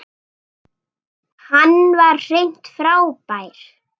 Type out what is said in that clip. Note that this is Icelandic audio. Hann var hreint frábær.